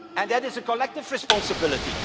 It is a collective responsibility.